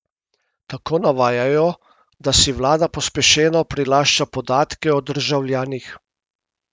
Tako navajajo, da si vlada pospešeno prilašča podatke o državljanih.